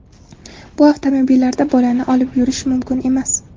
Bu avtomobillarda bolani olib yurish mumkin emas.